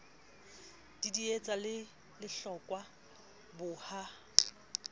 didietsa le lehlokwa bo ha